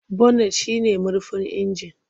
Bonet shi ne murfin inji.